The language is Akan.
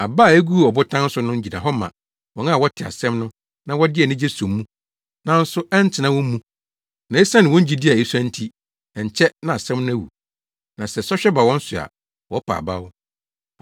Aba a eguu ɔbotan so no gyina hɔ ma wɔn a wɔte asɛm no na wɔde anigye so mu, nanso ɛntena wɔn mu. Na esiane wɔn gyidi a esua nti, ɛnkyɛ na asɛm no awu. Na sɛ sɔhwɛ ba wɔn so a, wɔpa abaw.